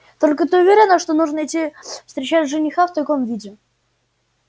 только ты уверена что нужно идти встречать жениха в таком виде